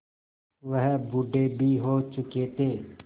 वह बूढ़े भी हो चुके थे